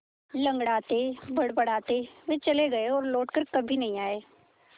लँगड़ाते बड़बड़ाते वे चले गए और लौट कर कभी नहीं आए